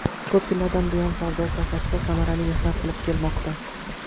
Ko‘p yillardan buyon savdo sohasida samarali mehnat qilib kelmoqda.